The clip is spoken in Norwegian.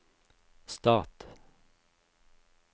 stat